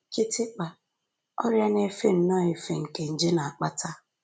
Kịtịkpa: Ọrịa na-efe nnọọ efe nke nje na-akpata